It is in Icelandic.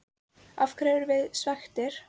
Af hverju erum við svekktir?